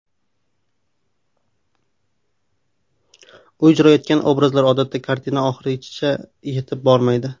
U ijro etgan obrazlar odatda kartina oxirigacha yetib bormaydi.